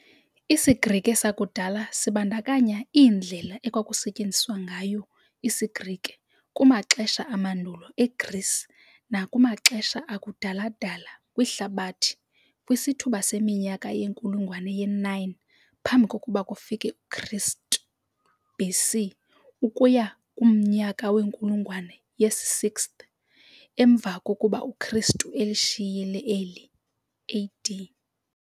IsiGrike sakudala sibandakanya iindlela ekwakusetyenziswa ngayo isiGrike kumaxesha amandulo eGreece nakumaxesha akudala-dala kwihlabathi kwisithuba seminyaka yenkulungwane ye-9 phambi kokuba kufike uKristu, BC, ukuya kumnyaka wenkulungwane yesi-6th emva kokuba uKristu elishiyile eli AD.